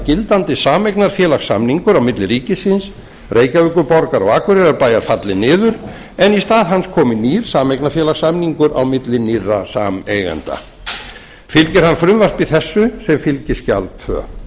gildandi sameignarfélagssamningur á milli ríkisins reykjavíkurborgar og akureyrarbæjar falli niður en í stað hans komi nýr sameignarfélagssamningur á milli nýrra sameigenda fylgir það frumvarpi þessu sem fylgiskjal annars